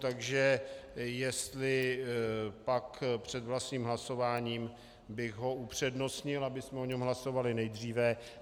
Takže jestli pak před vlastním hlasováním bych ho upřednostnil, abychom o něm hlasovali nejdříve.